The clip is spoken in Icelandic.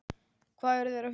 Hvað eru þeir að huga?